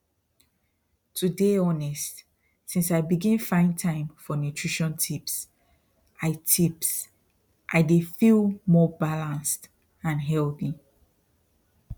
to dey honest since i begin find time for nutrition tips i tips i dey feel more balanced and healthy